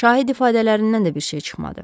Şahid ifadələrindən də bir şey çıxmadı.